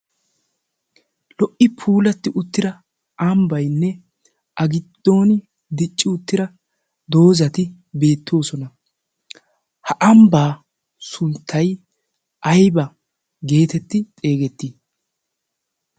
lo"i puulatti uttira ambbaynne a giddoni dicci uttira doozati beettoosona. ha ambbaa sunttay ayba geetetti xeegettii?